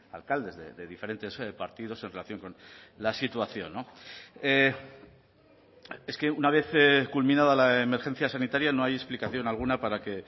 alcaldes de diferentes partidos en relación con la situación es que una vez culminada la emergencia sanitaria no hay explicación alguna para que